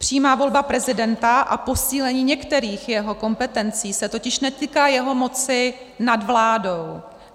Přímá volba prezidenta a posílení některých jeho kompetencí se totiž netýká jeho moci nad vládou.